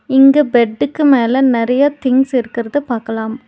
இங்க பெட்டுக்கு மேல நறைய திங்ஸ் இருக்கறத பாக்கலாம்.